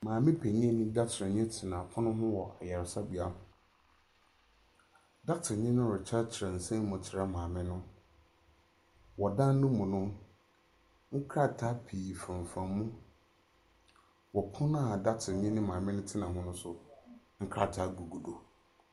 Maame panyin ne dɔkota ni tena pono ho wɔ ayaresabea. Dɔkota ni no rekyekyɛ kyerɛ nsɛm mu akyerɛ maame no. Wɔ dan no mu no, nkraataa pii femfam mu. Ɔpono a dɔkota ni ne maame no tena ho nso nkraataa gugu do.